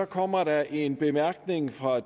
kommer der en bemærkning fra